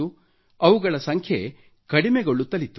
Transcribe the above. ಅವುಗಳ ಸಂಖ್ಯೆ ಕಡಿಮೆಗೊಳ್ಳುತ್ತಲಿತ್ತು